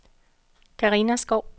Carina Skou